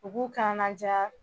mɔgɔw k'an la diya